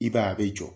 I b'a ye a bɛ jɔ